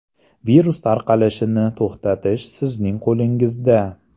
Virus tarqalishini to‘xtatish sizning qo‘lingizda.